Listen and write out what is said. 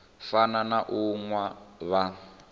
fana na u nwa vha